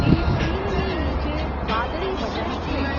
તે સ્ક્રિનની નીચે વાદળી બટન છે.